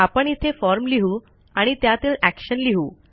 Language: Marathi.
आपण इथे फॉर्म लिहू आणि त्यातील एक्शन लिहू